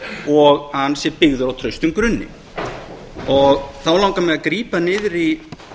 og að hann sé byggður á traustum grunni þá langar mig að grípa niður í